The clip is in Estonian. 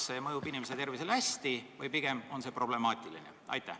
Kas see mõjub inimese tervisele hästi või pigem on see problemaatiline?